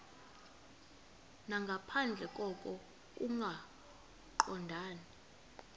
nangaphandle koko kungaqondani